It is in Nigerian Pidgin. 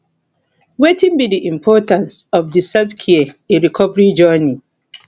wetin be di importance of di selfcare in recovery journey